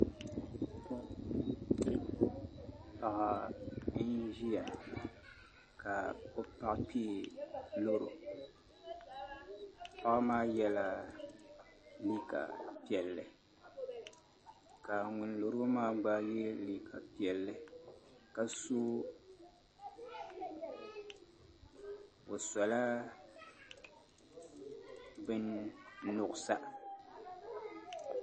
Bia n ʒiya ka o paɣa kpee loro paɣa maa yɛla liiga piɛlli ka ŋun loro maa gba yɛ liiga piɛlli ka so bin nuɣsa